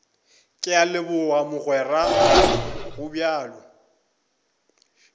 ke a leboga mogweraka gobjalo